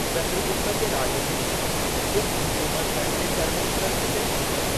चंद्रगुप्त जे राॼ में, गुप्त हुकुमत पंहिंजे चरमोत्कर्ष ते पहुती।